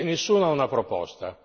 Nessuno ha una proposta.